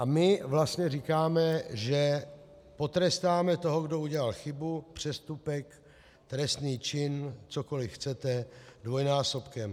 A my vlastně říkáme, že potrestáme toho, kdo udělal chybu, přestupek, trestný čin, cokoliv chcete, dvojnásobkem.